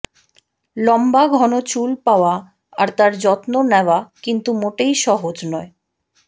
লম্বা ঘন চুল পাওয়া আর তার যত্ন নেওয়া কিন্তু মোটেই সহজ নয়